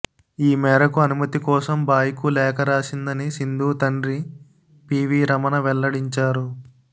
ఈ మేరకు అనుమతి కోసం బాయ్కు లేఖ రాసిందని సింధు తండ్రి పీవీ రమణ వెల్లడించారు